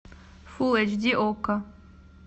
фулл эйч ди окко